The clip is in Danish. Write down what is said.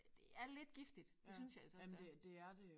Det er lidt giftigt det synes jeg altså også det er